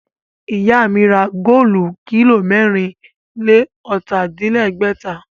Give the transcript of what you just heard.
Ìyá mi ra góòlù kílò mẹ́rìn-lé-ọ̀tà-din-lẹ́gbẹ̀ta